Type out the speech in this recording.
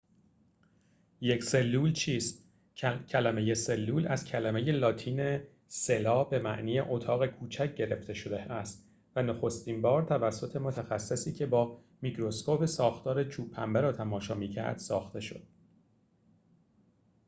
یک سلول چیست کلمه سلول از کلمه لاتین cella به معنی اتاق کوچک گرفته شده است و نخستین بار توسط متخصصی که با میکروسکوپ ساختار چوب پنبه را تماشا می‌کرد ساخته شد